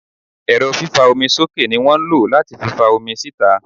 Ẹ́rọ fífa omi sókè ní wọ́n lo láti fi fa omi síta.